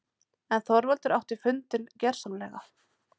En Þorvaldur átti fundinn- gersamlega.